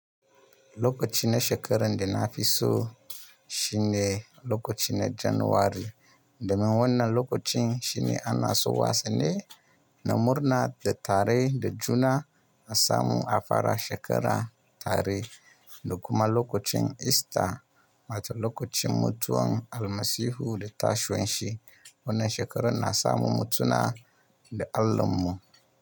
Lokaci na shekarar da na fi so shine lokaci na Janairu, domin wannan lokacin shine ana so wasu ne na murna da tare da juna na samu afara shekara tare da kuma lokacin Ista, wato lokacin mutuwan Almasihu da tashin shi. Wannan shekarar na samu mutuna da Allahn mu.